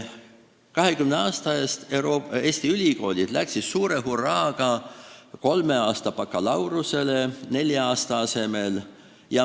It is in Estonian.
20 aasta eest läksid Eesti ülikoolid suure hurraaga üle kolmeaastasele bakalaureuseõppele nelja-aastase asemel.